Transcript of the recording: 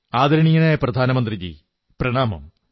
ആദരണീയനായ പ്രധാനമന്ത്രിജീ പ്രണാമം